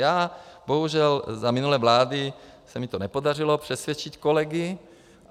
Já bohužel, za minulé vlády se mi to nepodařilo přesvědčit kolegy.